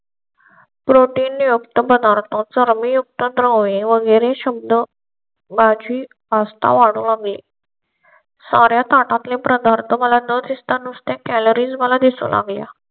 protein युक्त पदार्थ चरबी युक्त द्रव्य वगैरे शब्द माझी आस्था वाढवू लागले. साऱ्या ताटातले पदार्थ मला न दिसता नुसते कॅलोरीज मला दिसून आल्या